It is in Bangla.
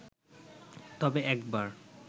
তবে একবার